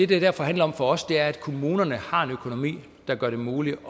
det derfor handler om for os er at kommunerne har en økonomi der gør det muligt